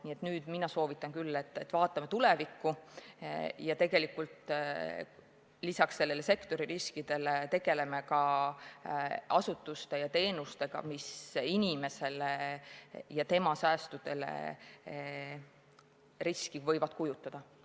Nii et mina soovitan küll, et vaatame tulevikku ja lisaks sektori riskidele tegeleme ka asutuste ja teenustega, mis inimesele ja tema säästudele riski võivad kujutada.